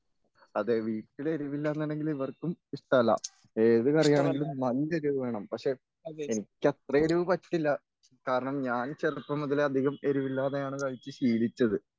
അതെ വീട്ടില് എരിവില്ലാന്നുണ്ടെങ്കില് ഇവർക്കും ഇഷ്ടമല്ല ഏത് കറി ആണെങ്കിലും നല്ല എരിവ് വേണം പക്ഷേ എനിക്ക് അത്ര എരിവ് പറ്റില്ല. കാരണം ഞാൻ ചെറുപ്പം മുതലേ അധികം എരിവില്ലാതെയാണ് കഴിച്ച് ശീലിച്ചത്.